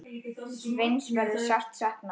Sveins verður sárt saknað.